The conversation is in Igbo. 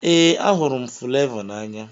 Ee, ahụrụ m Fulevoo n'anya.